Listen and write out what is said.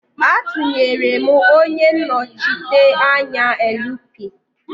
Atunyere m onye nnochite anya LP.